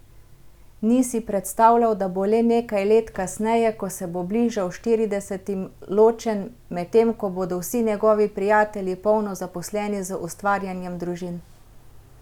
Ni si predstavljal, da bo le nekaj let kasneje, ko se bo bližal štiridesetim, ločen, medtem ko bodo vsi njegovi prijatelji polno zaposleni z ustvarjanjem družin.